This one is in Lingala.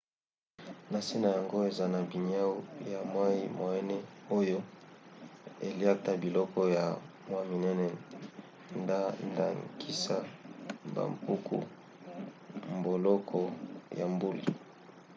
na se na yango ezana baniau ya mwa moene oyo eliakta biloko ya mwa minene nda ndakisa bampuku mboloko na mbuli